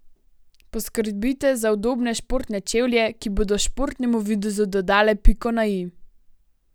Poskrbite za udobne športne čevlje, ki bodo športnemu videzu dodale piko na i.